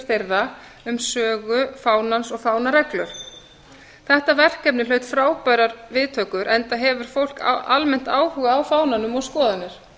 þeirra um sögu fánans og fánareglur þetta verkefni hlaut frábærar viðtökur enda hefur fólk almennt áhuga á fána og skoðanir